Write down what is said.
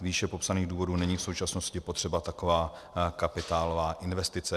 Z výše popsaných důvodů není v současnosti potřeba taková kapitálová investice.